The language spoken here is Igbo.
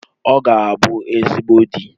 Ọ ga-abụ ezigbo di